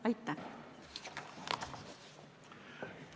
Aitäh!